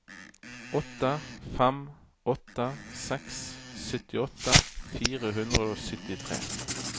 åtte fem åtte seks syttiåtte fire hundre og syttitre